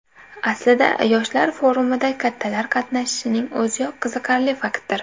Aslida yoshlar forumida kattalar qatnashishining o‘ziyoq qiziqarli faktdir.